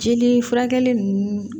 Jeli furakɛli nunnu